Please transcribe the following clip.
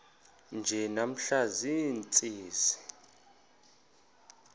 nje namhla ziintsizi